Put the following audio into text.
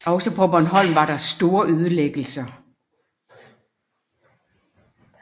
Også på Bornholm var der store ødelæggelser